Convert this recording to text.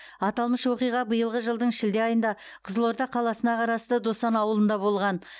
аталмыш оқиға биылғы жылдың шілде айында қызылорда қаласына қарасты досан ауылында болған